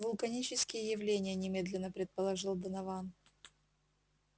вулканические явления немедленно предположил донован